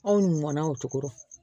Anw mɔn na o cogo rɔ